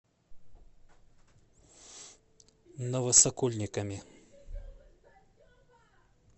новосокольниками